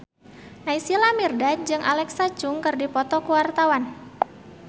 Naysila Mirdad jeung Alexa Chung keur dipoto ku wartawan